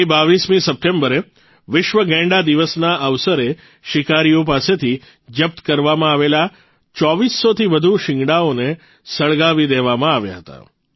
ગઇ ૨૨ સપ્ટેમ્બરે વિશ્વ ગેંડા દિવસના અવસરે શિકારીઓ પાસેથી જપ્ત કરવામાં આવેલા ૨૪૦૦થી વધુ શીંગડાઓને સળગાવી દેવામાં આવ્યા હતા